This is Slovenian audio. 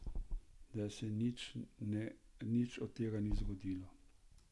Zdaj se nič od tega ni zgodilo.